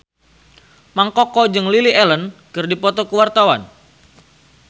Mang Koko jeung Lily Allen keur dipoto ku wartawan